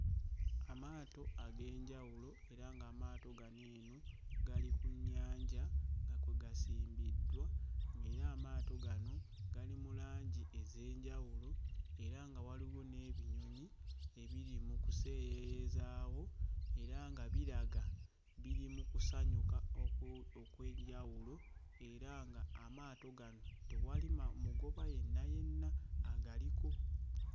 Amaato ag'enjawulo era ng'amaato gano eno gali ku nnyanja nga kwe gasimbiddwa, ng'era amaato gano gali mu langi ez'enjawulo era nga waliwo n'ebinyonyi ebiri mu kuseeyeeyezaawo era nga biraga biri mu kusanyuka oku... okw'enjawulo era ng'amato gano tewali ma... mugoba yenna yenna agaliko.